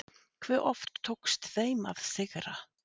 Hve oft tókst þeim að sigra?